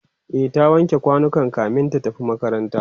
e ta wanke kwanukan kamin ta tafi makaranta